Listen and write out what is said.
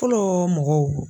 Fɔlɔ mɔgɔw